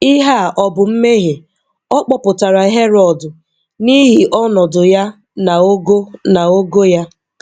Ihe a ọ bụ mmehie? ọ kpọpụtara Herọd n’ihi ọnọdụ ya na ogo na ogo ya.